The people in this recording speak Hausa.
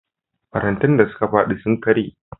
Farantan da suka faɗi sun karye.